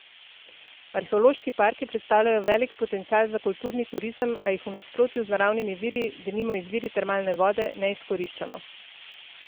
Arheološki parki predstavljajo velik potencial za kulturni turizem, a jih v nasprotju z naravnimi viri, denimo izviri termalne vode, ne izkoriščamo.